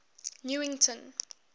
newington